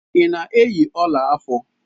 Ị na-eyi ọla afọ?